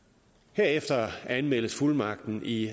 herefter anmeldes fuldmagten i